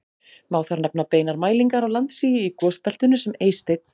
Má þar nefna beinar mælingar á landsigi í gosbeltinu sem Eysteinn